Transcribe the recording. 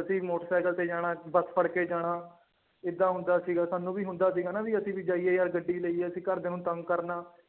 ਅਸੀਂ ਮੋਟਰਸਾਇਕਲ ਤੇ ਜਾਣਾ ਬਸ ਫੜ ਕੇ ਜਾਣਾ ਏਦਾਂ ਹੁੰਦਾ ਸੀਗਾ ਸਾਨੂੰ ਵੀ ਹੁੰਦਾ ਸੀਗਾ ਨਾ ਵੀ ਅਸੀਂ ਵੀ ਜਾਈਏ ਯਾਰ ਗੱਡੀ ਲਈਏ ਅਸੀਂ ਘਰਦਿਆਂ ਨੂੰ ਤੰਗ ਕਰਨਾ।